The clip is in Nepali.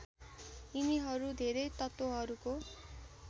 यिनीहरू धेरै तत्त्वहरूको